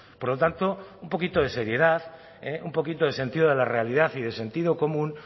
por lo tanto un poquito de seriedad un poquito de sentido de la realidad y de sentido común